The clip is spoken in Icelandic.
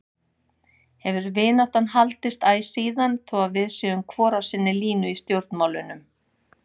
Hefur vináttan haldist æ síðan þó að við séum hvor á sinni línu í stjórnmálunum.